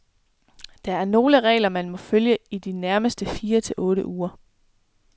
Der er nogle regler, man må følge i de nærmeste fire til otte uger.